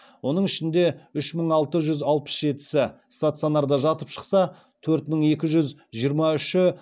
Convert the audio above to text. оның ішінде үш мың алты жүз алпыс жетісі стационарда жатып шықса төрт мың екі жүз жиырма үші амбулаторлық ем алды